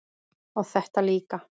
og þetta líka